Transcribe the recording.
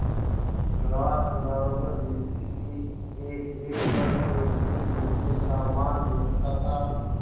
रात अंगारों पर बीतती थी एकएक पल एकएक युग के सामान बीतता था